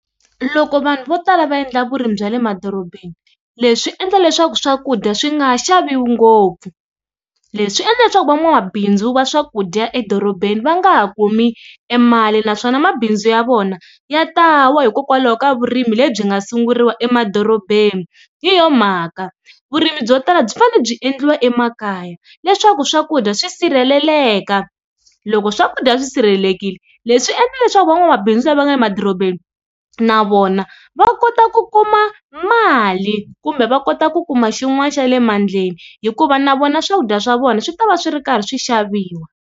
Loko vanhu vo tala va endla vurimi bya le madorobeni leswi endla leswaku swakudya swi nga ha xaviwi ngopfu, leswi endla leswaku van'wamabindzu va swakudya edorobeni va nga ha kumi e mali naswona mabindzu ya vona ya ta wa hikokwalaho ka vurimi lebyi nga sunguriwa emadorobeni. Hi yona mhaka vurimi byo tala byi fane byi endliwa emakaya leswaku swakudya swi sirheleleka loko swakudya swi sirhelelekile leswi endla leswaku van'wamabindzu lava nga le madorobeni na vona va kota ku kuma mali kumbe va kota ku kuma xin'wani xa le mandleni hikuva na vona swakudya swa vona swi ta va swi ri karhi swi xaviwa.